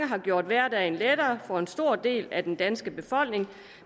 har gjort hverdagen lettere for en stor del af den danske befolkning